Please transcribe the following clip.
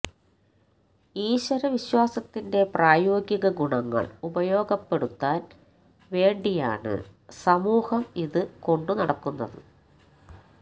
ഈശ്വര വിശ്വാസത്തിന്റെ പ്രായോഗിക ഗുണങ്ങള് ഉപയോഗപ്പെടുത്താന് വേണ്ടിയാണ് സമൂഹം ഇത് കൊണ്ടുനടക്കുന്നത്